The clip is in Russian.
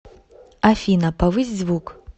афина повысь звук